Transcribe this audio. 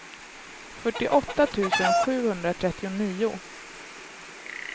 fyrtioåtta tusen sjuhundratrettionio